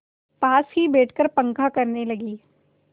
पास ही बैठकर पंखा करने लगी